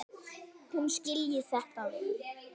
Hún skilji þetta vel.